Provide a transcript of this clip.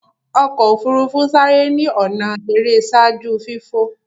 ọkọ ofurufu n sáré ni ọnà èrè ṣaaju fifo.